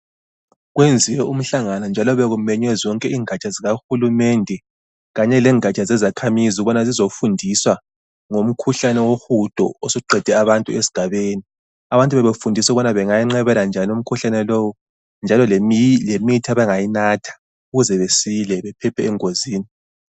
Okwenziwe umhlangano njalo bekumenywe zonke ingatsha zikahulumende kanye lengatsha zezakhamizi ukubana zizofundiswa ngomkhuhlane wohudo osuqede abantu esigabeni abantu bebefundiswa ukubana bengawunqabela njani umkhuhlane lowu njalo lemithi abangayinatha ukuze besile bephephe engozini.